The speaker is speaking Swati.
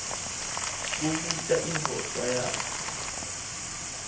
kubuta indvodza yakhe